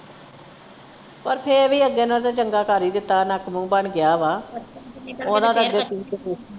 ਪਰ ਫੇਰ ਅੱਗੇ ਨਾਲੋਂ ਤੇ ਚੰਗਾ ਕਰ ਈ ਦਿੱਤਾ ਨੱਕ ਮੂੰਹ ਬਣ ਗਿਆ ਵਾ